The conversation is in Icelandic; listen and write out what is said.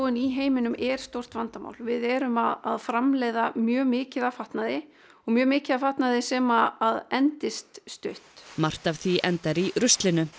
í heiminum er stórt vandamál við erum að framleiða mjög mikið af fatnaði og mjög mikið af fatnaði sem endist stutt margt af því endar í ruslinu